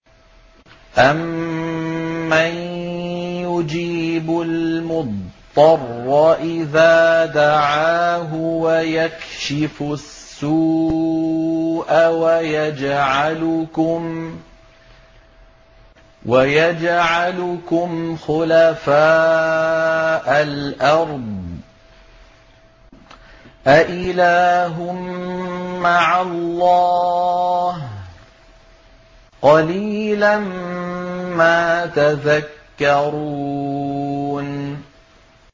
أَمَّن يُجِيبُ الْمُضْطَرَّ إِذَا دَعَاهُ وَيَكْشِفُ السُّوءَ وَيَجْعَلُكُمْ خُلَفَاءَ الْأَرْضِ ۗ أَإِلَٰهٌ مَّعَ اللَّهِ ۚ قَلِيلًا مَّا تَذَكَّرُونَ